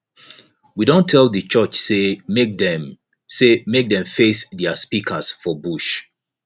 we don tell di church sey make dem sey make dem face their speakers for bush